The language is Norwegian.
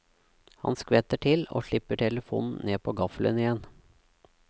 Han skvetter til, og slipper telefonen ned på gaffelen igjen.